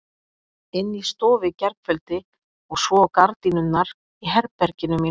Inni í stofu í gærkveldi og svo á gardínurnar í herberginu mínu.